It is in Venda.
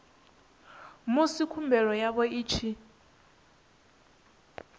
musi khumbelo yavho i tshi